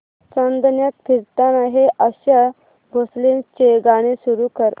चांदण्यात फिरताना हे आशा भोसलेंचे गाणे सुरू कर